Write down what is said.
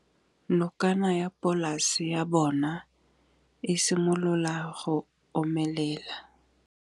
Nokana ya polase ya bona, e simolola go omelela.